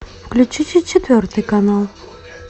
включите четвертый канал